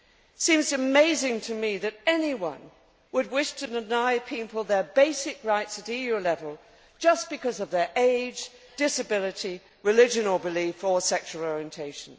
It seems amazing to me that anyone would wish to deny people their basic rights at EU level just because of their age, disability, religion or belief or sexual orientation.